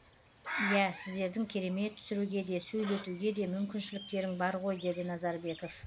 иә сіздердің керемет түсіруге де сөйлетуге де мүмкіншіліктерің бар ғой деді назарбеков